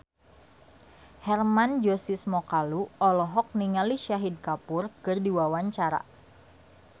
Hermann Josis Mokalu olohok ningali Shahid Kapoor keur diwawancara